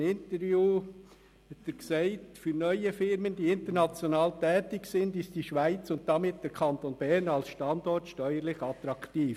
In einem Interview meinte er: «Für neue Firmen, die international tätig sind, ist die Schweiz und damit der Kanton Bern als Standort steuerlich attraktiv.